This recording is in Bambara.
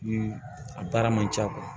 Ni a baara man ca